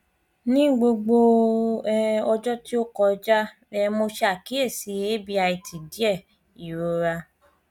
ni gbogbo um ọjọ ti o kọja um mo ṣe akiyesi abit diẹ irora